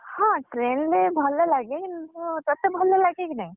ହଁ train ରେ ଭଲ ଲାଗେ କିନ୍ତୁ ତତେ ଭଲ ଲାଗେ କି ନାହିଁ?